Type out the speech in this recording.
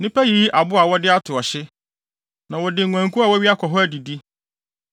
Nnipa yiyi abo a wɔde ato ɔhye; na wɔde nguankuw a wɔawia kɔ hɔ adidi.